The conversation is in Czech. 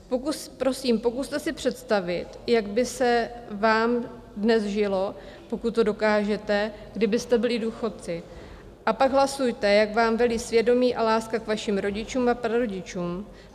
Prosím, pokuste si představit, jak by se vám dnes žilo, pokud to dokážete, kdybyste byli důchodci, a pak hlasujte, jak vám velí svědomí a láska k vašim rodičům a prarodičům.